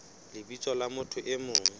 lebitsong la motho e mong